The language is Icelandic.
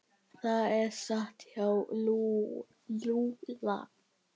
Það er satt hjá Lúlla.